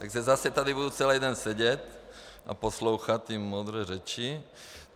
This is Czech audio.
Takže zase tady budu celý den sedět a poslouchat ty moudré řeči.